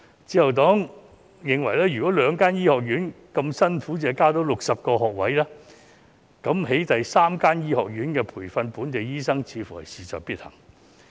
自由黨認為，如果兩間醫學院那麼辛苦亦只能增加60個學位，那麼興建第三間醫學院培訓本地醫生似乎事在必行。